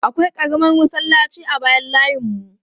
Akwai ƙaramar masallaci a bayan layinmu.